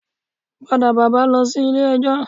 Padà bàbá lọ sí ilé ijó